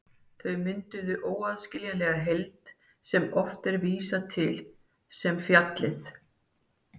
Þau mynduðu óaðskiljanlega heild sem oft er vísað til sem fjallið.